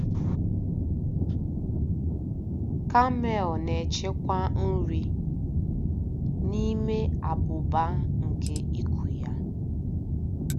Kamel na-echekwa nri n'ime abụba nke iku ya.